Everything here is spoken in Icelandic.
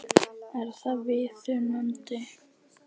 Er það viðunandi?